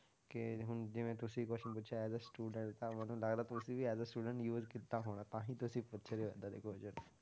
ਕਿ ਹੁਣ ਜਿਵੇਂ ਤੁਸੀਂ question ਪੁੱਛਿਆ ਹੈ as a student ਤਾਂ ਮੈਨੂੰ ਲੱਗਦਾ ਤੁਸੀਂ ਵੀ as a student use ਕੀਤਾ ਹੋਣਾ ਤਾਂ ਹੀ ਤੁਸੀਂ ਪੁੱਛ ਰਹੇ ਹੋ ਏਦਾਂ ਦੇ question